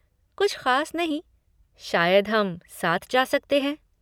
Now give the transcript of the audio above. कुछ ख़ास नहीं। शायद हम साथ जा सकते हैं।